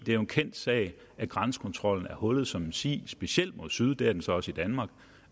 er jo en kendt sag at grænsekontrollen er hullet som en si specielt mod syd det er den så også i danmark